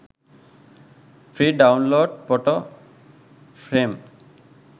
free download photo frame